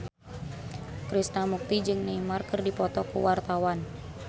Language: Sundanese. Krishna Mukti jeung Neymar keur dipoto ku wartawan